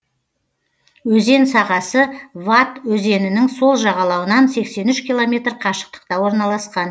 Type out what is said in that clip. өзен сағасы вад өзенінің сол жағалауынан сексен үш километр қашықтықта орналасқан